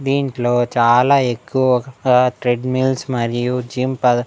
దింట్లో చాలా ఎక్కువగా ట్రెడ్మిల్స్ మరియు జిమ్ పదా--